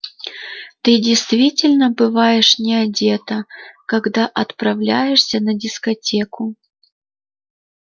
ты действительно бываешь не одета когда отправляешься на дискотеку